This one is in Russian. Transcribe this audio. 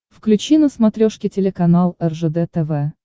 включи на смотрешке телеканал ржд тв